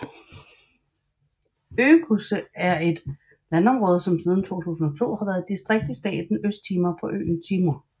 Oecusse er et landområde som siden 2002 har været et distrikt i staten Østtimor på øen Timor